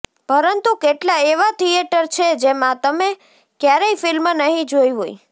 પરંતુ કેટલા એવા થિયેટર છે જેમાં તમે ક્યારેય ફિલ્મ નહીં જોઈ હોય